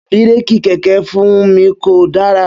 Bírékì kẹ̀kẹ́ Funmi ko dara.